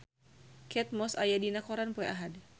Kate Moss aya dina koran poe Ahad